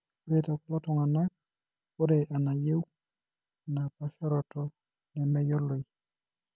Ore tekulo tung'anak, ore enayau enapaasharoto nemeyioloi.